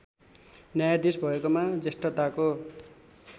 न्यायाधीस भएकोमा जेष्ठताको